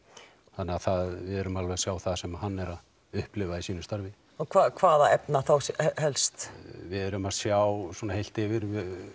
þannig að við erum alveg að sjá það sem hann er að upplifa hvaða efna þá helst við erum að sjá heilt yfir